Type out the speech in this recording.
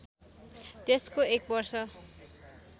त्यसको एक वर्ष